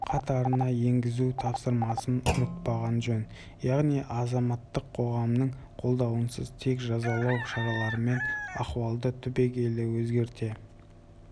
қатарына енгізу тапсырмасын ұмытпаған жөн яғни азаматтық қоғамның қолдауынсыз тек жазалау шараларымен ахуалды түбегейлі өзгерте